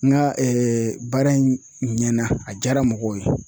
N ka baara in ɲɛna a jaara mɔgɔw ye.